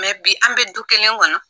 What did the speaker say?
Mɛ bi an bɛ du kelen kɔnɔ